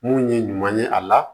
Mun ye ɲuman ye a la